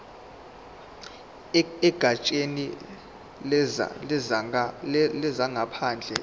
egatsheni lezangaphandle epitoli